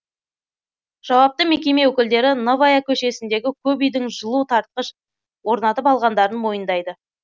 жауапты мекеме өкілдері новая көшесіндегі көп үйдің жылу тартқыш орнатып алғандарын мойындайды